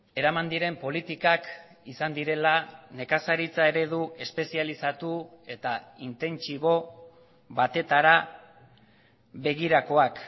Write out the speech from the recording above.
eraman diren politikak izan direla nekazaritza eredu espezializatu eta intentsibo batetara begirakoak